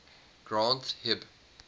granth hib